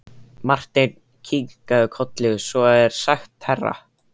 Marteinn kinkaði kolli: Svo er sagt herra.